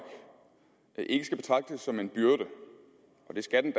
ikke skal betragtes som en byrde og det skal den